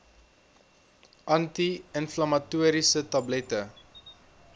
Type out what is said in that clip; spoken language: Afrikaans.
anti inflammatoriese tablette